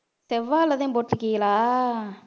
செவ்வாழைதான் போட்டிருக்கீங்களா